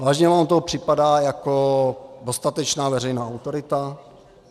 Vážně vám to připadá jako dostatečná veřejná autorita?